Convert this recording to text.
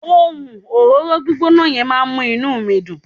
ohun òróró gbígbóná yen ma n mu inú mi Dun